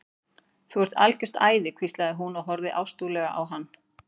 Þú ert algjört æði hvíslaði hún og horfði ástúðlega á hann.